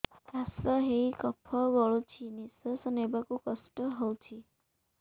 କାଶ ହେଇ କଫ ଗଳୁଛି ନିଶ୍ୱାସ ନେବାକୁ କଷ୍ଟ ହଉଛି